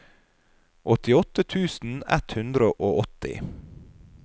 åttiåtte tusen ett hundre og åtti